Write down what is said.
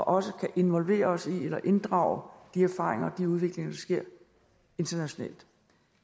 også kan involvere os i eller inddrage de erfaringer og de udviklinger der sker internationalt